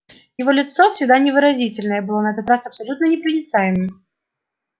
его лицо всегда невыразительное было на этот раз абсолютно непроницаемым